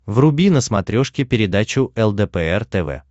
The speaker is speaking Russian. вруби на смотрешке передачу лдпр тв